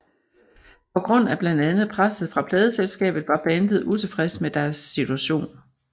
På grund af blandt andet presset fra pladeselskabet var bandet utilfreds med deres situation